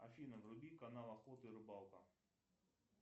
афина вруби канал охота и рыбалка